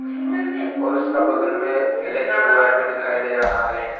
और उसका बगल में इलेक्ट्रिक वायर भी दिखाई दे रहा है।